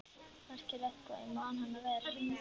Merkilegt hvað ég man hana vel.